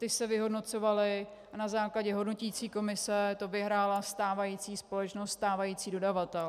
Ty se vyhodnocovaly a na základě hodnoticí komise to vyhrála stávající společnost, stávající dodavatel.